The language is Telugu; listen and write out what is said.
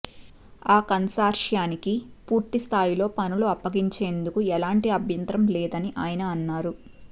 ఆ కన్సార్షియానికి పూర్తిస్థాయిలో పనులు అప్పగించేందుకు ఎలాంటి అభ్యంతరం లేదని ఆయన అన్నారు